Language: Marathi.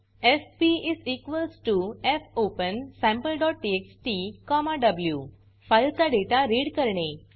एफपी fopensampleटीएक्सटी व्ही फाइल चा डेटा रीड करणे